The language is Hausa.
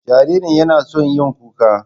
Jaririn yana son yin kuka.